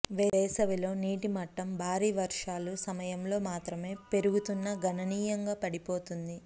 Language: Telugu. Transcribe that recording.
వేసవిలో నీటి మట్టం భారీ వర్షాలు సమయంలో మాత్రమే పెరుగుతున్న గణనీయంగా పడిపోతుంది